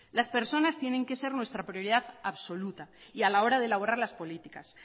las personas tienen que ser nuestra prioridad absoluta y a la hora de elaborar las políticas